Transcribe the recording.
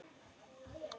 Mig vantar salt.